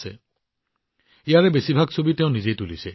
এই আলোকচিত্ৰসমূহৰ বেছিভাগেই তেওঁ নিজেই তুলিছে